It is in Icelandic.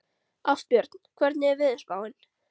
Ástbjörn, hvernig er veðurspáin?